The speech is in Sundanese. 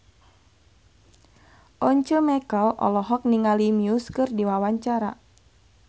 Once Mekel olohok ningali Muse keur diwawancara